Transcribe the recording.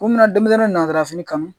Ko min na denmisɛnnin nata fini kan